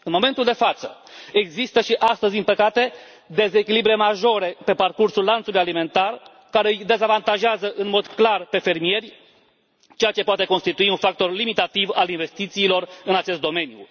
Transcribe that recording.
În momentul de față există, din păcate, dezechilibre majore pe parcursul lanțului alimentar care îi dezavantajează în mod clar pe fermieri, ceea ce poate constitui un factor limitativ al investițiilor în acest domeniu.